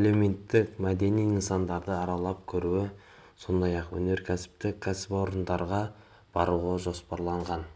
әлеуметтік-мәдени нысандарды аралап көруі сондай-ақ өнеркәсіптік кәсіпорындарға баруы жоспарланған